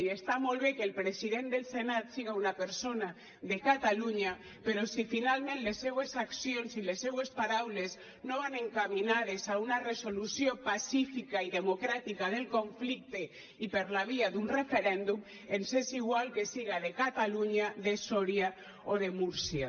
i està molt bé que el president del senat siga una persona de catalunya però si finalment les seues accions i les seues paraules no van encaminades a una resolució pacífica i democràtica del conflicte i per la via d’un referèndum ens és igual que siga de catalunya de soria o de múrcia